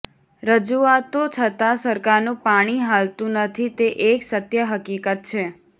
રજૂઆતો છતા સરકારનું પાણી હાલતું નથી તે એક સત્ય હકીકત છે